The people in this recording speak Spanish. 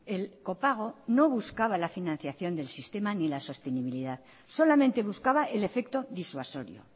el copago no buscaba la financiación del sistema ni la sostenibilidad solamente buscaba el efecto disuasorio